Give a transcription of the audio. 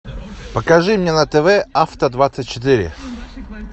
покажи мне на тв авто двадцать четыре